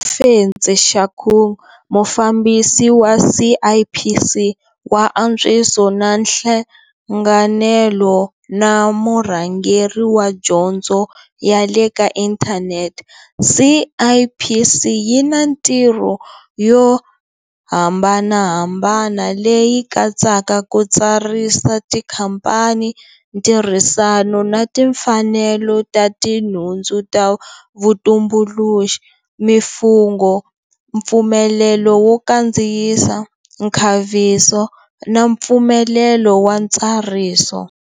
Ofentse Shakung, Mufambisi wa CIPC wa Antswiso na Nhlanganelo na Murhangeri wa Dyondzo yale ka Inthanete, CIPC yi na mitirho yo hambanaha mbana, leyi katsaka ku tsarisa tikhamphani, ntirhisano na timfanelo ta tinhundzu ta vutumbuluxi, mifungho, mpfumelelo wo kandziyisa, nkhaviso na mpfumelelo wa ntsariso.